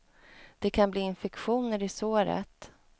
Det kan bli infektioner i såret.